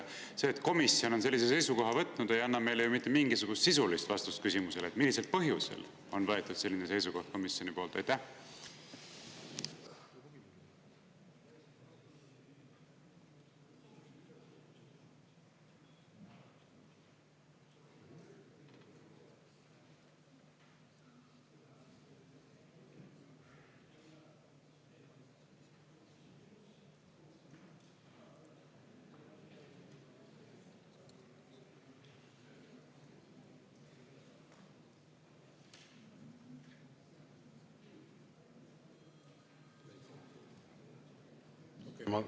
See, et komisjon on sellise seisukoha võtnud, ei anna meile ju mitte mingisugust sisulist vastust küsimusele, millisel põhjusel on võetud komisjonis selline seisukoht.